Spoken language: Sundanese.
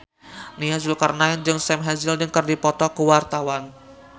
Nia Zulkarnaen jeung Sam Hazeldine keur dipoto ku wartawan